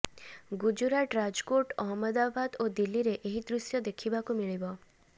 ଗୁଜୁରାଟ ରାଜକୋଟ୍ ଅହମ୍ମଦାବାଦ ଓ ଦିଲ୍ଲୀରେ ଏହି ଦୃଶ୍ୟ ଦେଖିବାକୁ ମିଳିବ